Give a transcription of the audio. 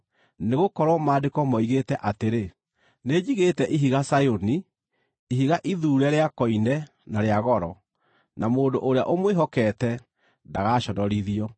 Nĩgũkorwo Maandĩko moigĩte atĩrĩ: “Nĩnjigĩte ihiga Zayuni, ihiga ithuure rĩa koine na rĩa goro, na mũndũ ũrĩa ũmwĩhokete ndagaaconorithio.”